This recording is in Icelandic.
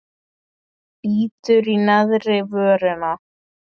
Bítur í neðri vörina.